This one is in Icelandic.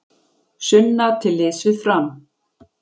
Sunna til liðs við Fram